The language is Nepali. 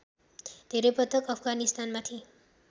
धेरै पटक अफगानिस्तानमाथि